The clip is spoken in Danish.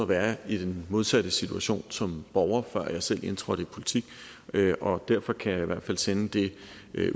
være i den modsatte situation som borger før jeg selv indtrådte i politik og derfor kan jeg i hvert fald sende det